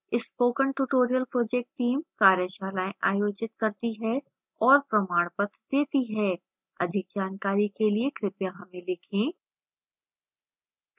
spoken tutorial project team कार्यशालाएँ आयोजित करती है और प्रमाणपत्र देती है अधिक जानकारी के लिए कृपया हमें लिखें